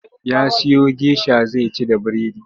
Ya siyo gesha zai ci da biredi.